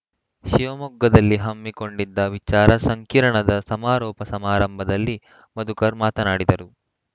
ಶಿವಮೊಗ್ಗದಲ್ಲಿ ಹಮ್ಮಿಕೊಂಡಿದ್ದ ವಿಚಾರ ಸಂಕಿರಣದ ಸಮಾರೋಪ ಸಮಾರಂಭದಲ್ಲಿ ಮಧುಕರ್‌ ಮಾತನಾಡಿದರು